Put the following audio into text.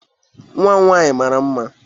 nwa m nwaanyị mara mma